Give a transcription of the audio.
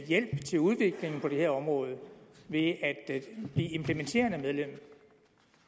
hjælp til udviklingen på det her område ved at blive implementerende medlem